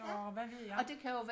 og hvad ved jeg